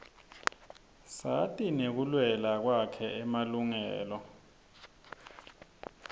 sati ngekulwela kwakhe emalungelo